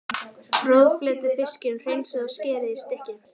Roðflettið fiskinn, hreinsið og skerið í stykki.